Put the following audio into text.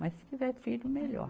Mas se tiver filho, melhor.